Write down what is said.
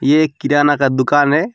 ये एक किराना का दुकान है।